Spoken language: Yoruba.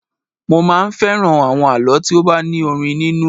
Mo máa ń fẹ́ràn àwọn àlọ́ tí ó bá ní orin nínú